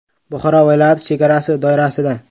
Buxoro viloyati chegarasi doirasida.